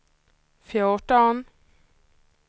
fjorton